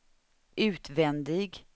utvändig